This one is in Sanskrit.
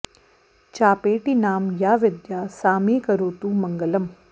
चापेटी नाम या विद्या सा मे करोतु मङ्गलम्